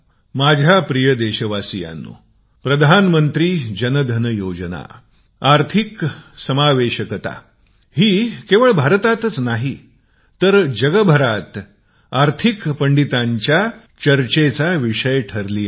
माझ्या प्रिय देशवासियांनो प्रधानमंत्री जन धन योजना आर्थिक अंर्तभूतता ही केवळ भारताचीच नाही तर पूर्ण जगातील आर्थिक जगतातील पंडितांच्या चर्चेचा विषय आहे